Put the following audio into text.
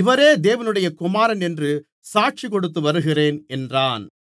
இவரே தேவனுடைய குமாரன் என்று சாட்சிகொடுத்து வருகிறேன் என்றான்